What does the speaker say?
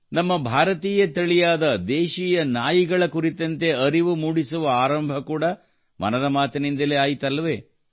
ನಮ್ಮ ಭಾರತೀಯ ತಳಿಯಾದ ದೇಶೀಯ ನಾಯಿಗಳ ಕುರಿತಂತೆ ಅರಿವು ಮೂಡಿಸುವ ಆರಂಭ ಕೂಡಾ ಮನದ ಮಾತಿನಿಂದಲೇ ಆಯಿತಲ್ಲವೇ